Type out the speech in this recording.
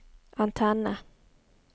antenne